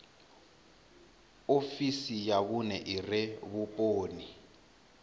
ofisi ya vhune ire vhuponi